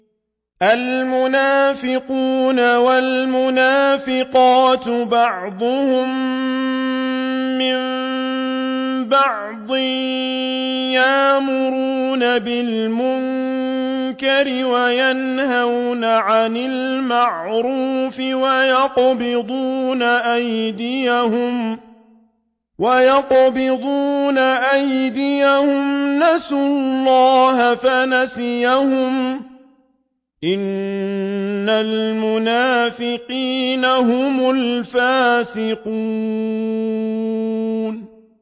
الْمُنَافِقُونَ وَالْمُنَافِقَاتُ بَعْضُهُم مِّن بَعْضٍ ۚ يَأْمُرُونَ بِالْمُنكَرِ وَيَنْهَوْنَ عَنِ الْمَعْرُوفِ وَيَقْبِضُونَ أَيْدِيَهُمْ ۚ نَسُوا اللَّهَ فَنَسِيَهُمْ ۗ إِنَّ الْمُنَافِقِينَ هُمُ الْفَاسِقُونَ